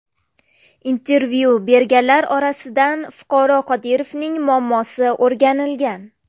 Intervyu berganlar orasidan fuqaro Qodirovning muammosi o‘rganilgan.